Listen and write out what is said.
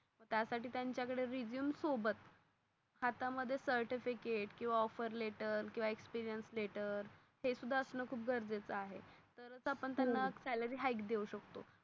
त्या साठी त्यांच्या कढे रेझूमे सोबत हात मध्ये certificate किवा offter letter किवा experience letter किवा हे सुधे असण खूप गरजेच आहे. तरच त्यांना salary hike आपण देऊ शकतो.